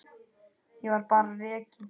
Ég var bara rekinn.